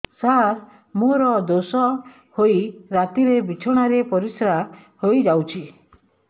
ସାର ମୋର ଦୋଷ ହୋଇ ରାତିରେ ବିଛଣାରେ ପରିସ୍ରା ହୋଇ ଯାଉଛି